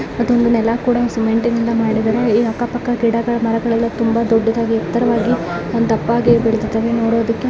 ಮತ್ತೆ ಒಂದು ನೆಲ ಕೂಡ ಸಿಮೆಂಟ್ನಿಂದ ಮಾಡಿದ್ದಾರೆ ಇಲ್ಲಿ ಅಕ್ಕ ಪಕ್ಕಾ ಗಿಡಗಳು ಮರಗಳು ಎಲ್ಲಾ ತುಂಬಾ ದೊಡ್ಡದಾಗಿ ಎತ್ತರವಾಗಿ ದಪ್ಪ ಆಗಿ ಬೆಳಿದ್ದಿದಾವೆ. ನೋಡೋದಕ್ಕ --